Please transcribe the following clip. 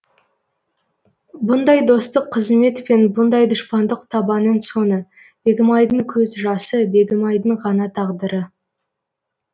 бұндай достық қызмет пен бұндай дұшпандық табаның соңы бегімайдың көз жасы бегімайдың ғана тағдыры